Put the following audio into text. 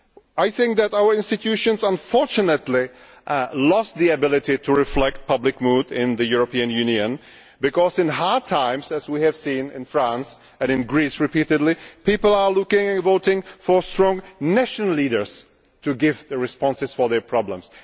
I think that our institutions unfortunately have lost the ability to reflect public mood in the European Union because in hard times, as we have seen in France and in Greece repeatedly, people are looking at voting for strong national leaders to give responses to their problems.